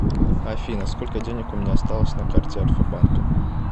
афина сколько денег у меня осталось на карте альфа банка